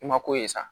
I ma ko ye sa